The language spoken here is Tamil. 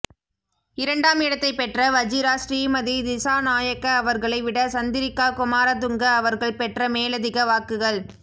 இரண்டாம் இடத்தைப் பெற்ற வஜிரா ஸ்ரீமதி திசாநாயக்க அவர்களை விட சந்திரிக்கா குமாரதுங்க அவர்கள் பெற்ற மேலதிக வாக்குகள்